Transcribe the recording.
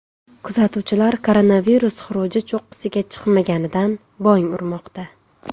Kuzatuvchilar koronavirus xuruji cho‘qqisiga chiqmaganidan bong urmoqda.